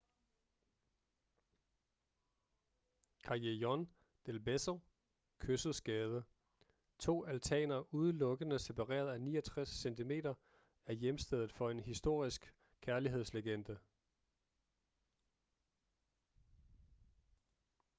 callejon del beso kyssets gyde. to altaner udelukkende separeret af 69 cm. er hjemsted for en historisk kærlighedslegende